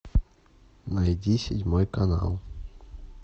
найди седьмой канал